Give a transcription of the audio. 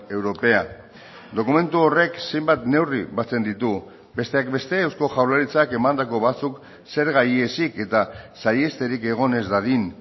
europea dokumentu horrek zenbat neurri batzen ditu besteak beste eusko jaurlaritzak emandako batzuk zerga ihesik eta saihesterik egon ez dadin